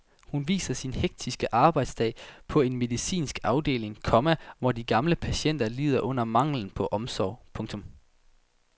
Hun viser sin hektiske arbejdsdag på en medicinsk afdeling, komma hvor de gamle patienter lider under manglen på omsorg. punktum